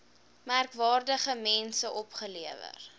merkwaardige mense opgelewer